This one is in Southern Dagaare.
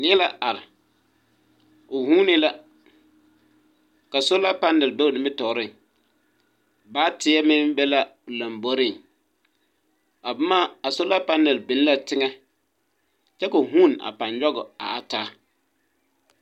Neɛ la are, o vuune la ka solar panel be o nimitɔɔreŋ baateɛ meŋ be la o lamboriŋ a boma a solar panel biŋ la teŋa kyɛ ka a o vuune a pãá nyɔge a taa.